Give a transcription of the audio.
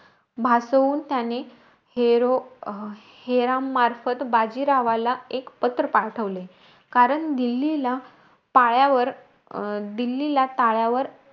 भासवून त्याने हेरो हेरामार्फत, बाजीरावाला एक पत्र पाठवले. कारण दिल्लीला पायावर अं दिल्लीला टायावर,